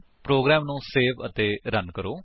programme ਨੂੰ save ਅਤੇ run ਕਰੋ